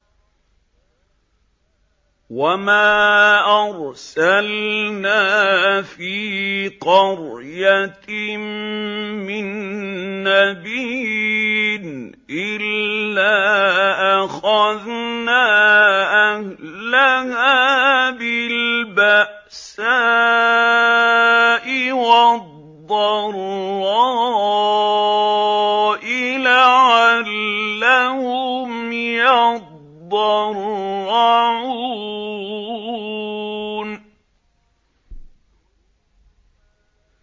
وَمَا أَرْسَلْنَا فِي قَرْيَةٍ مِّن نَّبِيٍّ إِلَّا أَخَذْنَا أَهْلَهَا بِالْبَأْسَاءِ وَالضَّرَّاءِ لَعَلَّهُمْ يَضَّرَّعُونَ